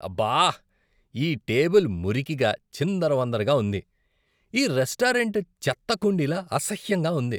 అబ్బా! ఈ టేబుల్ మురికిగా, చిందరవందరగా ఉంది, ఈ రెస్టారెంట్ చెత్త కుండీలా, అసహ్యంగా ఉంది!!